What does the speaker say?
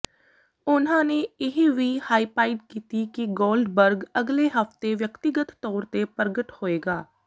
ਉਨ੍ਹਾਂ ਨੇ ਇਹ ਵੀ ਹਾਈਪਾਈਡ ਕੀਤੀ ਕਿ ਗੋਲਡਬਰਗ ਅਗਲੇ ਹਫਤੇ ਵਿਅਕਤੀਗਤ ਤੌਰ ਤੇ ਪ੍ਰਗਟ ਹੋਏਗਾ